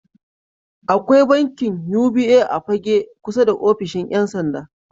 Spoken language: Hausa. Akwai bankin UBA a Fagge kusa da offishin 'yansanda.